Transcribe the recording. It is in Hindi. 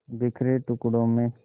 बिखरे टुकड़ों में